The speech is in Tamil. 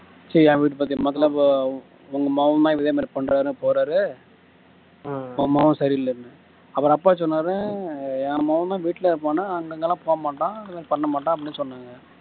ச்சி என் பத்தி பக்கத்துல உங்க மகன் தான் இதே மாதிரி பண்றார் போறார் உன் மகன் சரியில்லைன்னு அப்புறம் அப்பா சொன்னார் என் மகன்தான் வீட்டிலேயே இருப்பான்னு அங்க எங்கெல்லாம் போகமாட்டான் பண்ண மாட்டான் அப்படின்னு சொன்னாங்க